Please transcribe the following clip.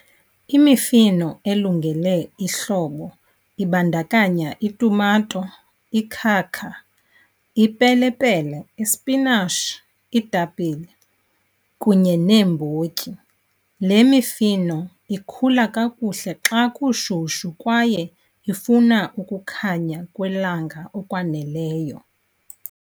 Imifino elungele ihlobo ibandakanya itumato, ikhakha, ipelepele, ispinashi, iitapile kunye neembotyi. Le mifino ikhula kakuhle xa kushushu kwaye ifuna ukukhanya kwelanga okwaneleyo.